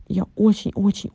я очень очень